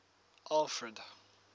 alfred